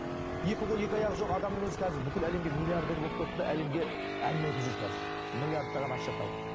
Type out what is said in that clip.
екі қолы екі аяғы жоқ адамның өзі қазір бүкіл әлемге миллиардер болып кетті де әлемге әңгіме айтып жүр қазір миллиардтаған ақша тауып